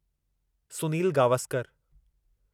Sunil Gavaskar